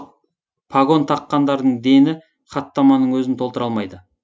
пагон таққандардың дені хаттаманың өзін толтыра алмайды